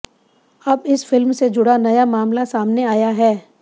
अब इस फिल्म से जुड़ा नया मामला सामने आया है